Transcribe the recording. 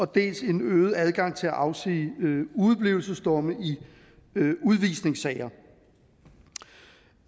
dels en øget adgang til at afsige udeblivelsesdomme i udvisningssager